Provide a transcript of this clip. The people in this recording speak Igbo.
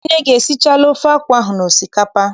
Nne gị esichala ofe akwụ ahụ na osikapa?